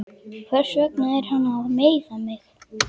Hversvegna er hann að meiða mig?